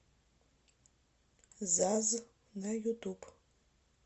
заз на ютуб